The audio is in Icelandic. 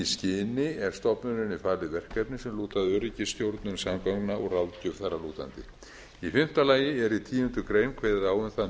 skyni er stofnuninni falið verkefni sem lúta að öryggisstjórnun samgangna og ráðgjöf þar að lútandi í fimmta lagi er í tíundu grein kveðið á um það